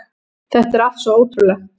Þetta er allt svo ótrúlegt